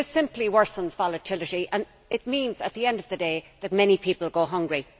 This simply worsens volatility it means, at the end of the day, that many people go hungry.